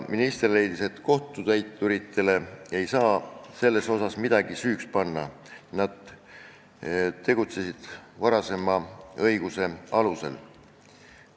Minister leidis, et kohtutäituritele ei saa selles valdkonnas midagi süüks panna, nad on tegutsenud kehtiva õiguse alusel.